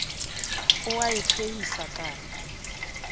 o a e phehisa kano